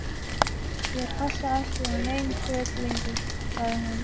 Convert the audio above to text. Ég passa ekki í nein föt lengur- sagði hún.